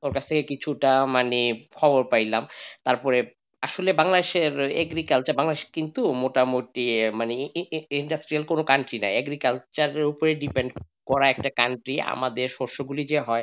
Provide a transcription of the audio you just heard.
ওর কাছ থেকে কিছু টা মানে খবর পাইলাম তারপর আসলে বাংলাদেশের agriculture বাংলাদেশের কিন্তু মোটামুটি মানে ই ইন industry কোন country না agriculture এর উপর depend করা একটা country আমাদের যে শস্যগুলো হয়,